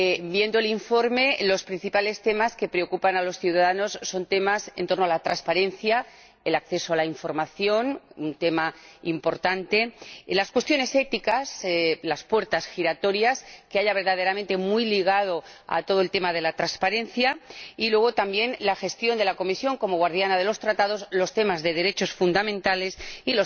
Viendo el informe, los principales temas que preocupan a los ciudadanos son temas en torno a la transparencia, el acceso a la información —un tema importante—, las cuestiones éticas, las puertas giratorias que pueda haber —problema muy ligado al tema de la transparencia— y, también, la gestión de la Comisión como guardiana de los Tratados, los derechos fundamentales